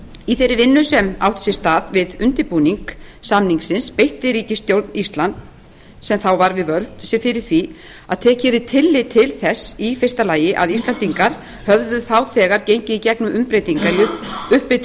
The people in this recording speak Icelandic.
í þeirri vinnu sem átti sér stað við undirbúning samningsins beitti ríkisstjórn íslands sem þá var við völd sér fyrir því að tekið yrði tillit til þess í fyrsta lagi að íslendingar höfðu þá þegar gengið í gegnum umbreytingar í upphitun